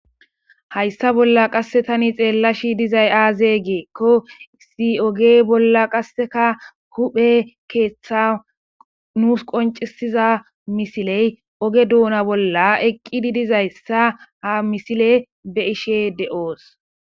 hayssa bolla qasse tani xeella shi dizay aaze geekko si oge bolla qasseka huphe keeththa nuus qoncisiza misiley oge duuna bolla eqqidi dizayssa ha misile be ishe de7oos.